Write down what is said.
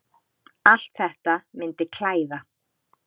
Allt þetta myndi klæða